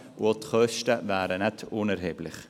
Auch wären die Kosten nicht unerheblich.